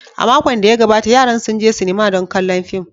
A makon da ya gabata, yaran sun je sinima don kallon fim.